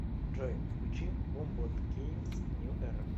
джой включи бумботгеймс нью эра